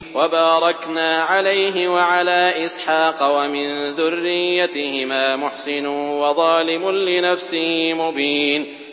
وَبَارَكْنَا عَلَيْهِ وَعَلَىٰ إِسْحَاقَ ۚ وَمِن ذُرِّيَّتِهِمَا مُحْسِنٌ وَظَالِمٌ لِّنَفْسِهِ مُبِينٌ